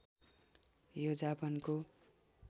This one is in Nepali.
यो जापानको